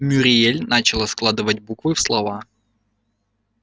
мюриель начала складывать буквы в слова